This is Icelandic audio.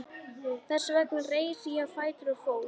Þess vegna reis ég á fætur og fór.